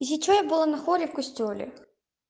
если что я была на хоре в костёле